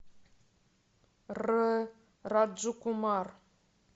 р раджкумар